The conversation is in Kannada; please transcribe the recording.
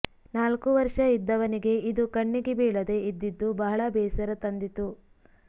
ನಾಲ್ಕು ವರ್ಷ ಇದ್ದವನಿಗೆ ಇದು ಕಣ್ಣಿಗೆ ಬೀಳದೆ ಇದ್ದಿದ್ದು ಬಹಳ ಬೇಸರ ತಂದಿತು